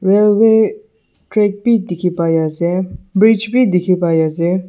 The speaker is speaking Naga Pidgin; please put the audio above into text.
Railway track bhi dekhe pai ase bridge bhi dekhi pai ase.